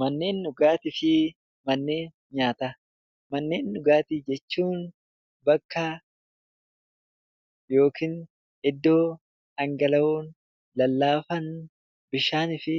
Manneen dhugaatii fi manneen nyaataa Manneen dhugaatii jechuun bakka yookaan iddoo dhangala'oo, lallaafaa, bishaanii fi